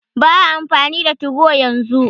Ba'a amfani da 2go yanzu.